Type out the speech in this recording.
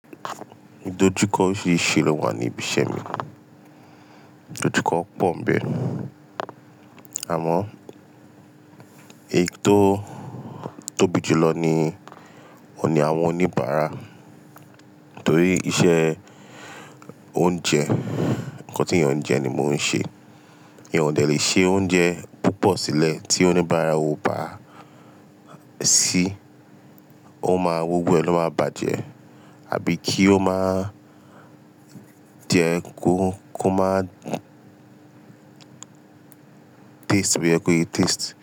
Idojukọ oríṣiríṣi ló wà ní ibi iṣẹ́ mi. Idojukọ pọ̀ ńbẹ̀ nu, àmọ́ èyí tó tóbi jùlọ ni òun ni àwọn oníbàárà torí iṣẹ́ oúnjẹ, ǹkan tí èèyàn ń jẹ ni mò ń ṣe. Ìyan òde le ṣe oúnjẹ púpọ̀ sílẹ̀ tí oníbàárà ò bá ṣí, ó máa wó gbó èlò máa bàjẹ́ àbí kí ó má jẹ kó má taste, bio yẹ kó yé taste.